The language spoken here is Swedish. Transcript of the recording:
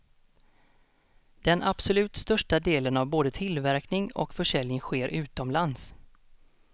Den absolut största delen av både tillverkning och försäljning sker utomlands.